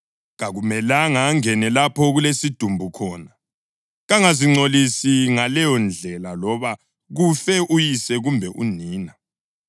Kakumelanga angene lapho okulesidumbu khona. Kangazingcolisi ngaleyondlela loba kufe uyise kumbe unina,